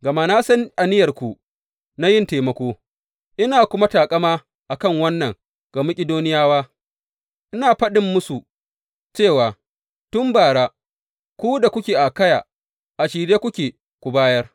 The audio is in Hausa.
Gama na san aniyarku na yin taimako, ina kuma taƙama a kan wannan ga Makidoniyawa, ina faɗin musu cewa tun bara, ku da kuke a Akayya a shirye kuke ku bayar.